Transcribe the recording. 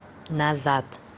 назад